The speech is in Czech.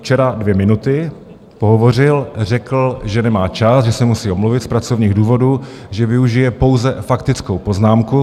Včera dvě minuty pohovořil, řekl, že nemá čas, že se musí omluvit z pracovních důvodů, že využije pouze faktickou poznámku.